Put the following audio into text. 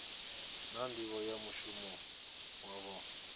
na nḓivho ya mushumo wavho